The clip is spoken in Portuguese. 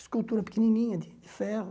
Escultura pequenininha de ferro.